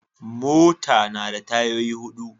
Mota na da tayoyi hudu.